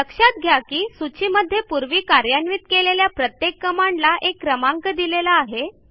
लक्षात घ्या की सूचीमध्ये पूर्वी कार्यान्वित केलेल्या प्रत्येक कमांडला एक क्रमांक दिलेला आहे